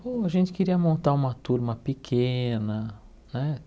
Bom, a gente queria montar uma turma pequena, né?